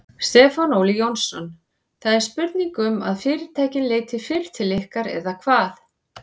Stefán Óli Jónsson: Það er spurning um að fyrirtækin leiti fyrr til ykkar eða hvað?